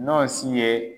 N'o si ye